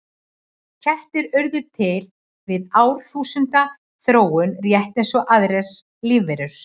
Kettir urðu til við árþúsunda þróun rétt eins og aðrar lífverur.